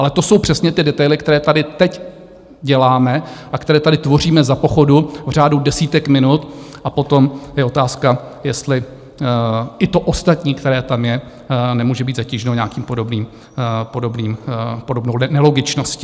Ale to jsou přesně ty detaily, které tady teď děláme a které tady tvoříme za pochodu v řádu desítek minut, a potom je otázka, jestli i to ostatní, které tam je, nemůže být zatíženo nějakou podobnou nelogičností.